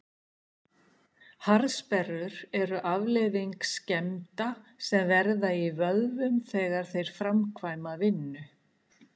harðsperrur eru afleiðing skemmda sem verða í vöðvum þegar þeir framkvæma vinnu